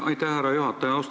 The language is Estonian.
Aitäh, härra juhataja!